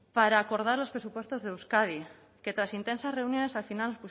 para acordar los presupuestos de euskadi que tras intensas reuniones al final